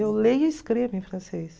Eu leio e escrevo em francês.